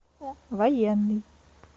военный